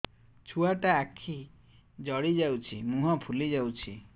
ଛୁଆଟା ଆଖି ଜଡ଼ି ଯାଉଛି ମୁହଁ ଫୁଲି ଯାଉଛି